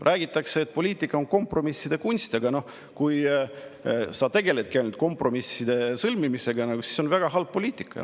Räägitakse, et poliitika on kompromisside kunst, aga kui sa tegeledki ainult kompromisside sõlmimisega, siis see on väga halb poliitika.